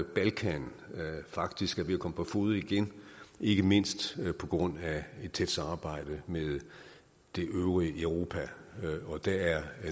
balkan faktisk er ved at komme på fode igen ikke mindst på grund af et tæt samarbejde med det øvrige europa og det er